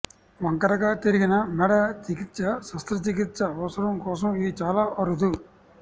వంకరగా తిరిగిన మెడ చికిత్స శస్త్రచికిత్స అవసరం కోసం ఇది చాలా అరుదు